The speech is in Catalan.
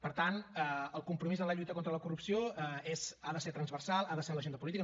per tant el compromís en la lluita contra la corrupció ha de ser transversal ha de ser en l’agenda política